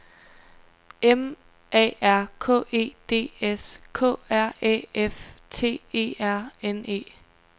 M A R K E D S K R Æ F T E R N E